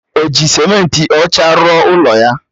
O ji simenti ọcha rụọ ụlọ ya